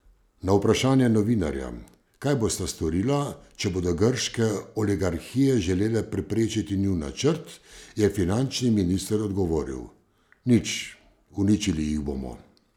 Na vprašanje novinarja, kaj bosta storila, če bodo grške oligarhije želele preprečiti njun načrt, je finančni minister odgovoril: 'Nič, uničili jih bomo'.